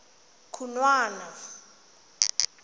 khunwana